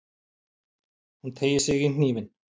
Hún teygir sig í hnífinn.